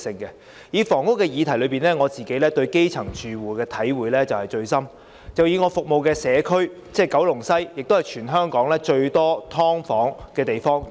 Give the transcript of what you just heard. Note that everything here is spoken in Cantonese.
以房屋議題為例，我對基層住戶的體會最深，我服務的社區九龍西是全港最多"劏房"的地區。